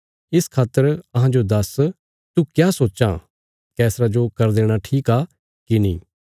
इस खातर अहांजो दस्स तू क्या सोच्चां रोमी बादशाह जो कर देणा ठीक आ कि नीं